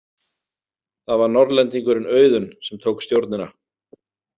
Það var Norðlendingurinn Auðunn sem tók stjórnina.